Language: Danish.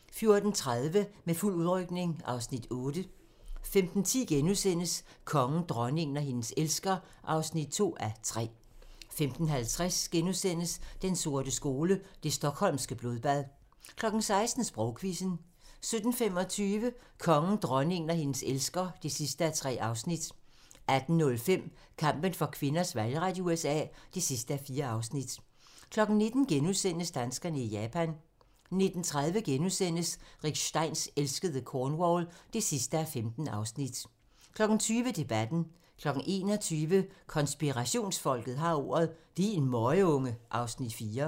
14:30: Med fuld udrykning (Afs. 8) 15:10: Kongen, dronningen og hendes elsker (2:3)* 15:50: Den sorte skole: Det Stockholmske Blodbad * 16:00: Sprogquizzen 17:25: Kongen, dronningen og hendes elsker (3:3) 18:05: Kampen for kvinders valgret i USA (4:4) 19:00: Danskerne i Japan * 19:30: Rick Steins elskede Cornwall (15:15)* 20:00: Debatten 21:00: Konspirationsfolket har ordet - Din møgunge (Afs. 4)